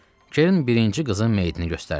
Kerrin birinci qızın meyitini göstərdi.